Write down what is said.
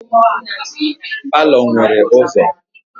Palọ nwere ụzọ.